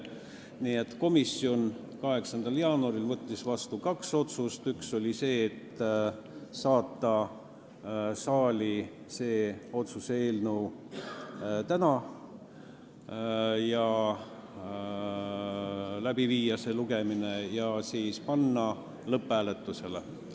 Nii et komisjon võttis 8. jaanuaril vastu järgmised otsused: saata see otsuse eelnõu täna saali, viia läbi esimene lugemine ja panna eelnõu lõpphääletusele.